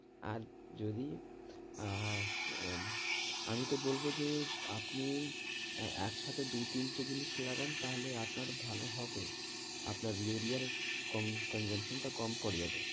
আর যদি আহ আমিতো বলবো যে আপনি এই একসাথে দু তিনটে জিনিস লাগান তাহলে আপনার ভালো হবে, আপনার ইউরিয়ার consumption টা কম পরে যাবে